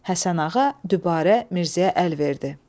Həsənağa dübarə Mirzəyə əl verdi.